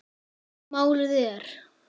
Málið er